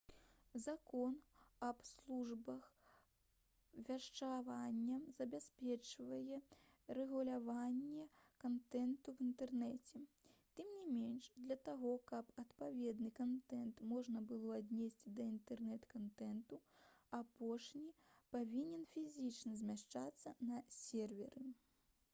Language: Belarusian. закон аб службах вяшчання забяспечвае рэгуляванне кантэнту ў інтэрнэце тым не менш для таго каб адпаведны кантэнт можна было аднесці да інтэрнэт-кантэнту апошні павінен фізічна змяшчацца на серверы